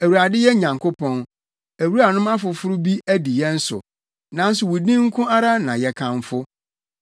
Awurade yɛn Nyankopɔn, awuranom afoforo bi adi yɛn so, nanso wo din nko ara na yɛ kamfo.